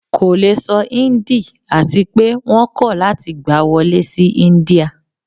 ko le sọ Hindi ati pe wọn kọ lati gba wọle si India